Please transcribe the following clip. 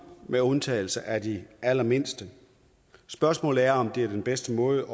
med undtagelse af de allermindste spørgsmålet er om det er den bedste måde